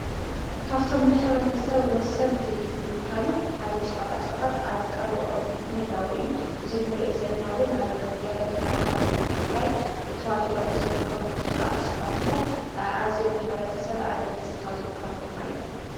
ካፍቶም ንኅብረተ ሰብ ወሰንቲ ዝበሃሉ ሓደ ሸቓጣ ሸቓጥ ኣብ ቐረወኦም ምህላዊ እዩ እዝኑርዮ ዘለናውን ኣብ ገለኸታማታት ትግራይ እተዋፊሮም ዝርከቡ ሸቓጠ ሸቓጥ እዮም ዓዚዮም ንኅብኣገደስትኻዊ ዝብሃሉ ድማ እየ